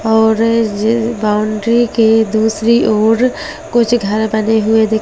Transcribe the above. और उस बाउंड्री के दूसरी ओर कुछ घर बने हुए दिखाई दे रहे --